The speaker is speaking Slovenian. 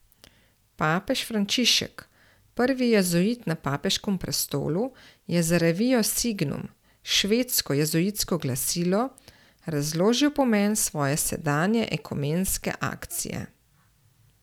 Papež Frančišek, prvi jezuit na papeškem prestolu, je za revijo Signum, švedsko jezuitsko glasilo, razložil pomen svoje sedanje ekumenske akcije.